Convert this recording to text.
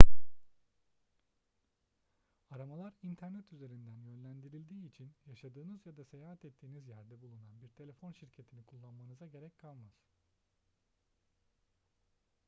aramalar i̇nternet üzerinden yönlendirildiği için yaşadığınız ya da seyahat ettiğiniz yerde bulunan bir telefon şirketini kullanmanıza gerek kalmaz